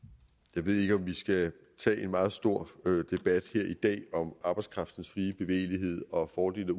jeg ved ikke om vi skal tage en meget stor debat her i dag om arbejdskraftens frie bevægelighed og fordele